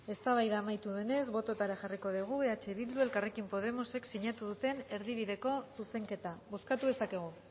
eztabaida amaitu denez bototara jarriko degu eh bilduk eta elkarrekin podemosek sinatu duten erdibideko zuzenketa bozkatu dezakegu